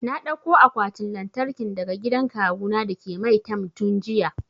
Na dauko akwatin lantarkin daga gidan kawu na dake maitam tun jiya